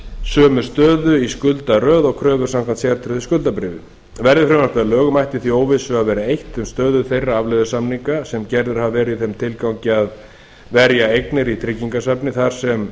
sömu stöðu í skuldaröð og kröfur samkvæmt sértryggðu skuldabréfi verði frumvarpið að lögum ætti því óvissu að vera eytt um stöðu þeirra afleiðusamninga sem gerðir hafa verið í þeim tilgangi að verja eignir í tryggingasafni því sem